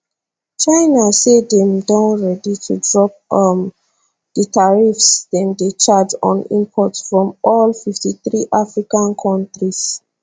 china say dem don ready to drop um di tariffs dem dey charge on imports from all 53 african kontris